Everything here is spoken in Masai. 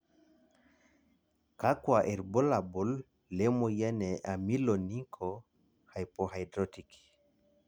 kakua irbulabol le moyian e Ameloonychohypohidrotic?